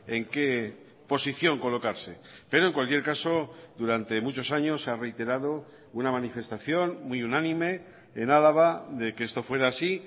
en qué posición colocarse pero en cualquier caso durante muchos años se ha reiterado una manifestación muy unánime en álava de que esto fuera así